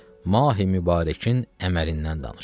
Mahi Mübarəkin əməlindən danışır.